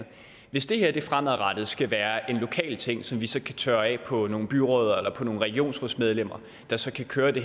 hvis det her fremadrettet skal være en lokal ting som vi så kan tørre af på nogle byrødder eller på nogle regionsrådsmedlemmer der så kan køre det